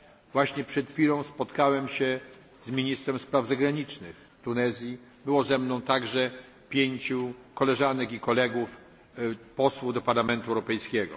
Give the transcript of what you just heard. Właśnie przed chwilą spotkałem się z ministrem spraw zagranicznych Tunezji. Było ze mną także pięciu koleżanek i kolegów posłów do Parlamentu Europejskiego.